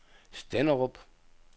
Stenderup